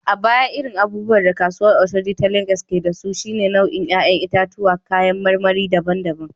A baya, irin abubuwan da kasuwar Oshodi ta Legas ke da su, shine nau’in ‘ya’yan itatuwa da kayan marmari daban-daban.